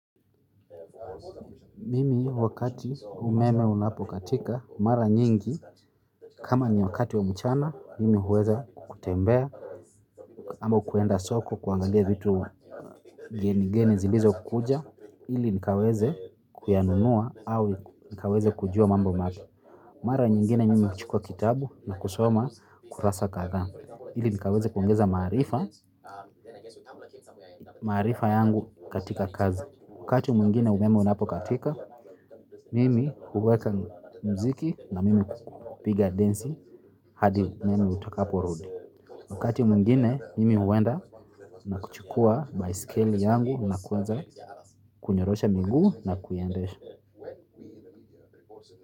Mimi wakati umeme unapokatika mara nyingi kama ni wakati wa mchana mimi huweza kutembea ama kuenda soko kuangalia vitu geni geni zilizo kuja ili nikaweze kuyanunua au nikaweze kujua mambo mapya. Mara nyingine mimi huchukua kitabu na kusoma kurasa kadhaa ili nikaweze kuongeza maarifa maarifa yangu katika kazi. Wakati mwingine umeme unapokatika mimi huweka mziki na mimi kupiga densi hadi umeme utakapo rudi. Wakati mwingine mimi huenda na kuchukua baiskeli yangu na kuweza kunyorosha miguu na kuiendesha.